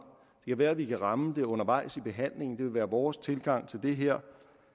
kan være vi kan ramme det undervejs i behandlingen det vil være vores tilgang til det her